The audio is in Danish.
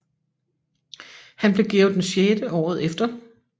Han blev Georg VI året efter